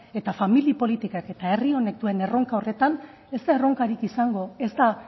eta famili politikak eta herri honek duen erronka horretan ez da erronkarik izango ez da